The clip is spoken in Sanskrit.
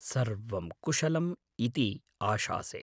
सर्वं कुशलम् इति आशासे।